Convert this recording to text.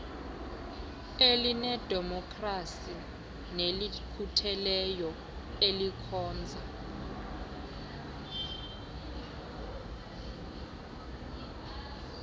elinedemokhrasi nelikhutheleyo elikhonza